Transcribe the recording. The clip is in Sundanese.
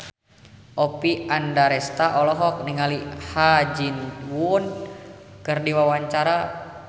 Oppie Andaresta olohok ningali Ha Ji Won keur diwawancara